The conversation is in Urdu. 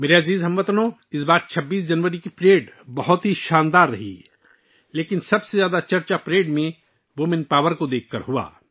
میرے پیارے ہم وطنو، اس بار 26 جنوری کی پریڈ شاندار تھی، لیکن سب سے زیادہ زیر بحث عنصر پریڈ میں خواتین کی طاقت کو دیکھنا تھا